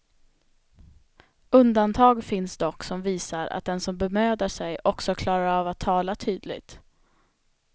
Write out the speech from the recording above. Undantag finns dock som visar, att den som bemödar sig också klarar av att tala tydligt.